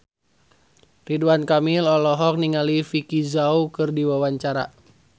Ridwan Kamil olohok ningali Vicki Zao keur diwawancara